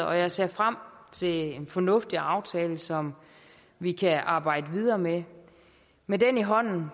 og jeg ser frem til en fornuftig aftale som vi kan arbejde videre med med den i hånden